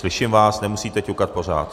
Slyším vás, nemusíte ťukat pořád.